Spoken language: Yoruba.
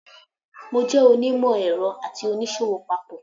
I'm both an engineer and a trader.